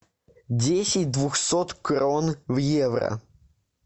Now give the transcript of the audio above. десять двухсот крон в евро